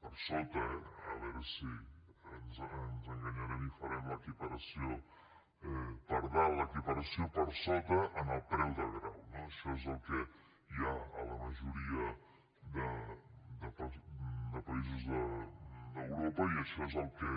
per sota eh a veure si ens enganyarem i farem l’equiparació per dalt l’equiparació per sota en el preu de grau no això és el que hi ha a la majoria de països d’europa i això és al que